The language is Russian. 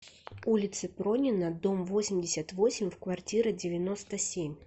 улице пронина дом восемьдесят восемь в квартира девяносто семь